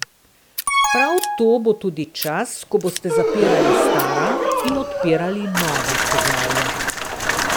Prav to bo tudi čas, ko boste zapirali stara in odpirali nova poglavja.